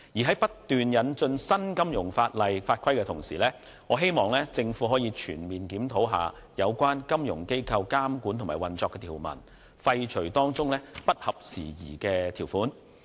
在不斷引進新金融法例及法規的同時，我希望政府可以全面檢討有關金融機構監管及運作的條文，廢除當中不合時宜的條款。